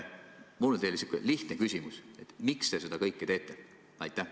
Mul on teile selline lihtne küsimus: miks te seda kõike teete?